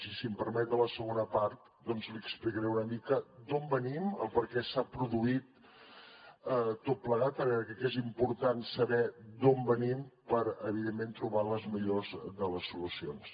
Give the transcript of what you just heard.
i si em permet a la segona part doncs li explicaré una mica d’on venim el perquè s’ha produït tot plegat perquè crec que és important saber d’on venim per evidentment trobar les millors de les solucions